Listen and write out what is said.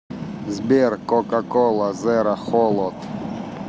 сбер кока кола зеро холод